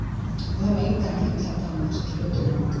Við höfum engan tíma til að tala um þessa hluti núna.